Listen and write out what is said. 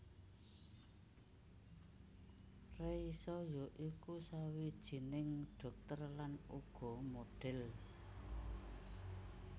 Reisa ya iku sawijining dhokter lan uga modhel